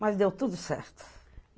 Mas deu tudo certo.